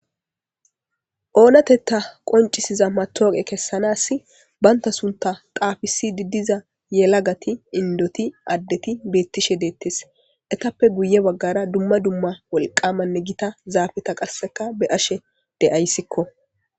oonatetta qoncisiza matooqe kessanaassi bantta sunta xaafisidid diza yelagati indoti addeti beettishe deettes etappe guye baggara dumma dumma wolqamanne gita zaafeta qasseka beashe de7ayssikko.